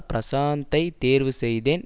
பிரஷாந்தை தேர்வு செய்தேன்